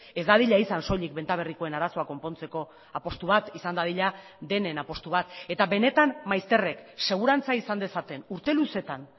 ez dadila izan soilik benta berrikoen arazoa konpontzeko apustu bat izan dadila denen apustu bat eta benetan maizterrek segurantza izan dezaten urte luzeetan